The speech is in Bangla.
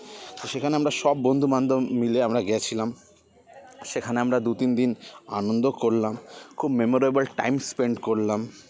তো সেখানে আমরা সব বন্ধু বান্ধব মিলে আমরা গেছিলাম সেখানে আমরা দু তিন দিন আনন্দ করলাম খুব memorable time spend করলাম